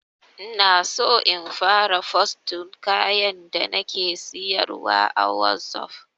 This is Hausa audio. Inaso in fara fosting kayan da nake siyarwa a wazof